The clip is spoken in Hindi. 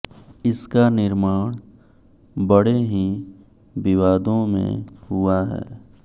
इसका निर्माण बङे ही विवादों में हुआ है